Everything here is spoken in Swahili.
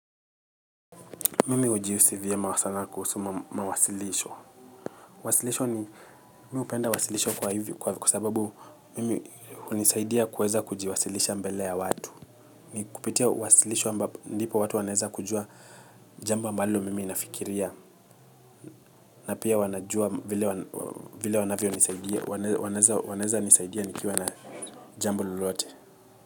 Mimi hujihsi vyema sana kuhusu mawasilisho. Wasilisho ni mimi hupenda wasilisho kwa sababu mimi hunisaidia kuweza kujiwasilisha mbele ya watu. Ni kupitia wasilisho ambapo ndipo watu wanaeza kujua jambo ambalo mimi nafikiria na pia wanajua vile wanavyonisaidia nikiwa na jambo lolote.